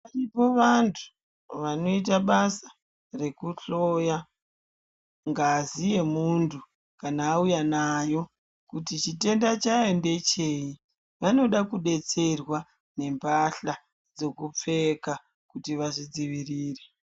Varipo antu vanoita basa rekutsvoya ngazi yemuntu kana awuya nayo kuti chitenda chayo ndecheyi. Vanoda kubetserwara nembahla dzokupfeka kuti vazvidzivirire.